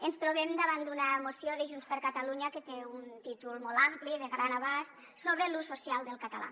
ens trobem davant d’una moció de junts per catalunya que té un títol molt ampli de gran abast sobre l’ús social del català